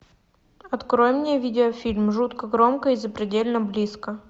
открой мне видеофильм жутко громко и запредельно близко